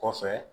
Kɔfɛ